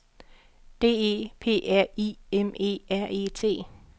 D E P R I M E R E T